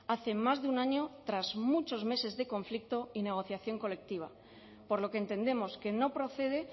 hace más de un año tras muchos meses de conflicto y negociación colectiva por lo que entendemos que no procede